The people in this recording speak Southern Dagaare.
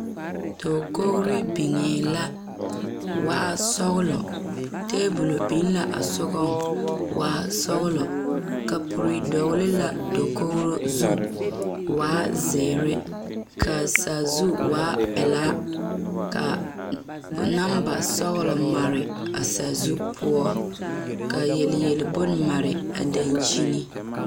Dakogiro niŋee la waa sɔgelɔ taabol biŋ la a sogaŋ waa sɔgelɔ kapuri dɔgele la dakogri zu waa zeere kaa sazu waa pelaa kaa namba sɔgelɔ mare a sazu poɔ ka yele yele bonne mare a dankuini